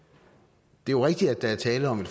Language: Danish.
det er jo rigtigt at der er tale om